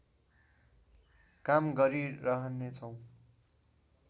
काम गरिरहनेछौँ